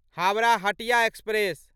Howrah Hatia express